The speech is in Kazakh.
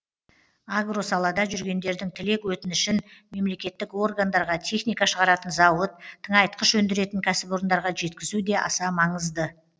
агро салада жүргендердің тілек өтінішін мемлекеттік органдарға техника шығаратын зауыт тыңайтқыш өндіретін кәсіпорындарға жеткізу де аса маңызды